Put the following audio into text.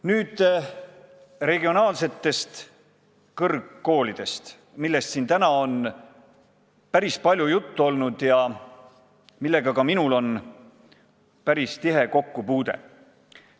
Nüüd regionaalsetest kõrgkoolidest, millest siin täna on päris palju juttu olnud ja millega ka minul on päris tihe kokkupuude.